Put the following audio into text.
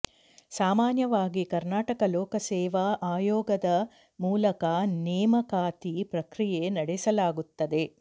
ಸಾಮಾನ್ಯವಾಗಿ ಕರ್ನಾಟಕ ಲೋಕಸೇವಾ ಆಯೋಗದ ಮೂಲಕ ನೇಮಕಾತಿ ಪ್ರಕ್ರಿಯೆ ನಡೆಸಲಾಗುತ್ತದೆ